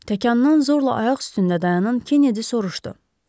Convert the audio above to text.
Təkandan zorla ayaq üstündə dayanan Kennedy soruşdu.